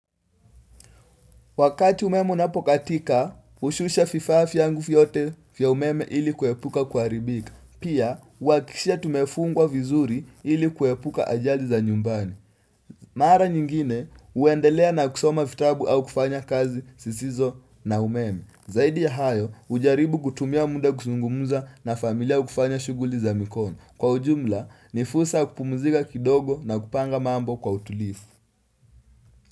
Wakati umeme unapokatika, ushusha vifaa vyangu vyote vya umeme ili kuhepuka kuharibika. Pia, huwakishia tumefungwa vizuri ili kuhepuka ajali za nyumbani. Mara nyingine, uendelea na kusoma fitabu au kufanya kazi sisizo na umeme. Zaidi ya hayo, ujaribu kutumia muda kusungumza na familia au kufanya shuguli za mikono. Kwa ujumla, nifusa kupumzika kidogo na kupanga mambo kwa utulivu.